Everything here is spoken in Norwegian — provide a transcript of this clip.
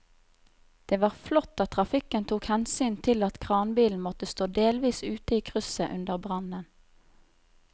Det var flott at trafikken tok hensyn til at kranbilen måtte stå delvis ute i krysset under brannen.